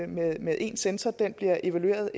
med med én censor den bliver evalueret